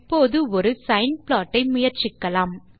இப்போது ஒரு ஆ சைன் ப்ளாட் ஐ முயற்சிக்கலாம்